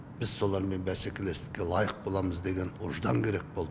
біз солармен бәсекелестікке лайық боламыз деген ұждан керек болды